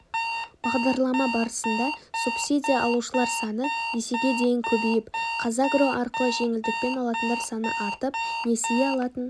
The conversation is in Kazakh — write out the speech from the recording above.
бағдарлама барысында субсидия алушылар саны есеге дейін көбейіп қазагро арқылы жеңілдікпен алатындар саны артып несие алатын